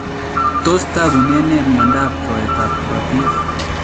Tos tagunen nee myondap rwaetap korotiik?